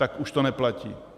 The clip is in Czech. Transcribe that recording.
Tak to už neplatí.